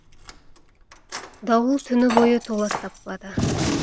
дауыл түні бойы толас таппады